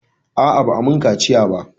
A'a, ba'a mun kaciya ba.